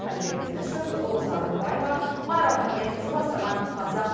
әлібек дінішев роза рымбаева майра мұхамедқызы бастаған қазақ